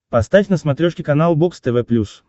поставь на смотрешке канал бокс тв плюс